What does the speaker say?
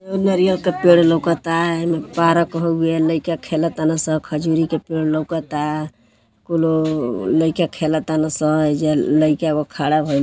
पेड़ लउकता हेमे पारक हउए लइका खेल ताने स खजुरी के पेड़ लउकता कुल लइका खेल ताने सं हेइजा लइका एगो खड़ा भइल बा।